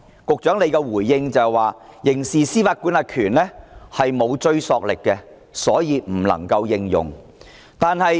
局長的回應是，修訂《刑事司法管轄權條例》沒有追溯力，所以不能夠採用。